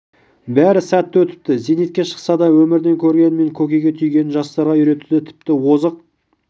бәрі сәтті өтіпті зейнетке шықса да өмірден көргені мен көкейге түйгенін жастарға үйретуде тіпті озық